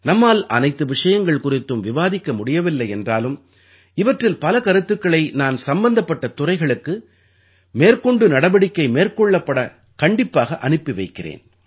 நம்மால் அனைத்து விஷயங்கள் குறித்தும் விவாதிக்க முடியவில்லை என்றாலும் இவற்றில் பல கருத்துக்களை நான் சம்பந்தப்பட்ட துறைகளுக்கு மேற்கொண்டு நடவடிக்கை மேற்கொள்ளப்படக் கண்டிப்பாக அனுப்பி வைக்கிறேன்